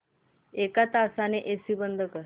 एक तासाने एसी बंद कर